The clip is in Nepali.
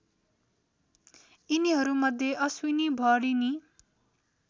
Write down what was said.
यिनीहरूमध्ये अश्विनी भरिणी